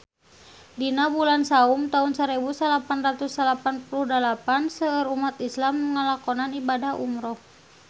Dina bulan Saum taun sarebu salapan ratus salapan puluh dalapan seueur umat islam nu ngalakonan ibadah umrah